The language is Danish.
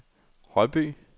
Højby